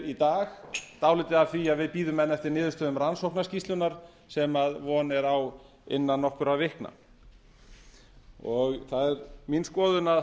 í dag dálítið af því að við bíðum niðurstöðu rannsóknarskýrslunnar sem von er á innan nokkurra vikna það er mín skoðun að